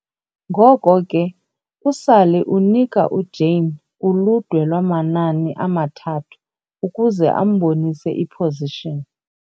Ngoko ke, uSally unika uJane uludwe lwamanani amathathu ukuze ambonise i-position.